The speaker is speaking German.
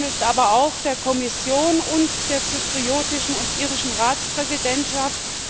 Mein Dank gilt aber auch der Kommission und der zyprischen und irischen Ratspräsidentschaft.